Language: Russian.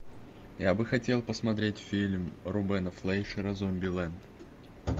я бы хотел посмотреть фильм рубена флейшера зомбилэнд